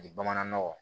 bamanan nɔgɔ